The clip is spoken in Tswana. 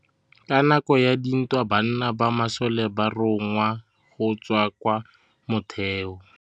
Ka nakô ya dintwa banna ba masole ba rongwa go tswa kwa mothêô.